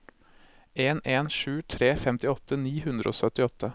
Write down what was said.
en en sju tre femtiåtte ni hundre og syttiåtte